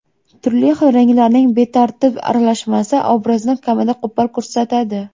Turli xil ranglarning betartib aralashmasi obrazni kamida qo‘pol ko‘rsatadi.